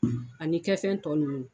Ani kɛ fɛn tɔ nunnu.